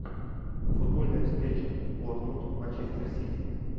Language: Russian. футбольная встреча борнмут манчестер сити